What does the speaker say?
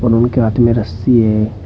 और उनके हाथ में रस्सी है।